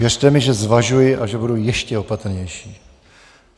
Věřte mi, že zvažuji a že budu ještě opatrnější.